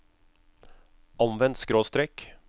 omvendt skråstrek